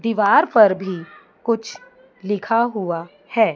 दीवार पर भी कुछ लिख हुआ है।